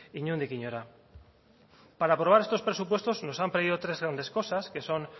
inondik inora para aprobar estos presupuestos nos han pedido tres grandes cosas que son